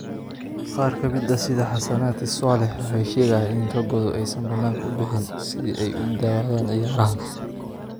Qaar ka mid ah sida Hassanati Swaleh waxay sheegayaan in ragoodu aysan bannaanka u bixin si ay u daawadaan ciyaarahaas.